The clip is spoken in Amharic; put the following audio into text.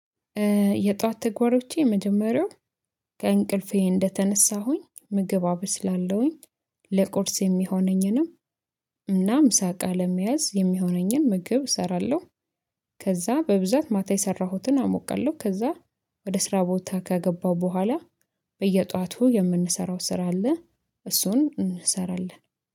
የጧት ተግባሮቼ የመጀመሪያው ከእንቅልፌ እንደተነሳሁኝ ምግብ አበስላለሁኝ ለቁርስ የሚሆነኝንም እናም ምሳ እቃ ለመያዝ የሚሆነኝን ምግብ እሰራለሁ። ከዛ በብዛት ማታ የሰራሁትን አሞቃለሁ ከዛ ወደ ስራ ቦታ ከገባሁ በኋላ በየጧቱ የምንሰራው ስራ አለ። እሱን እንሰራለን